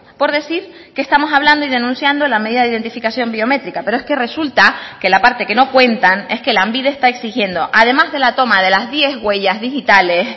por decir que estamos hablando y denunciando la medida de identificación biométrica pero es que resulta que la parte que no cuentan es que lanbide está exigiendo además de la toma de las diez huellas digitales